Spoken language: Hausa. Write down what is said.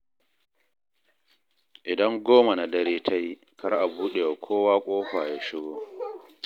Idan goma na dare ta yi kar a buɗe wa kowa ƙofa ya shigo.